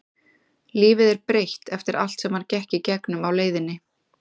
Lífið er breytt eftir allt sem hann gekk í gegnum á leiðinni.